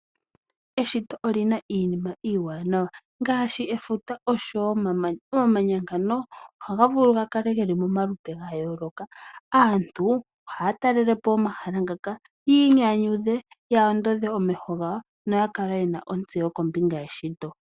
Eshito olina iinima iiwanawa ngaashi efuta oshowo omamanya, omamanya ngano ohaga vulu gakale geli momalupe gayooloka. Aantu ohaya talele po omahala ngaka yiinyanyudhe, ya ondodhe omeho gawo noya kale yena ontseyo kombinga yeshito.